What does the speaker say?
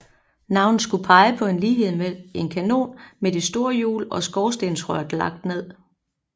Navnet skulle pege på en lighed med en kanon med de store hjul og skorstensrøret lagt ned